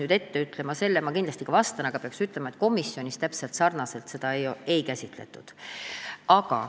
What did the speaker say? Ma kindlasti vastan sinu küsimusele, aga pean ka ütlema, et komisjonis täpselt nii seda ei käsitletud.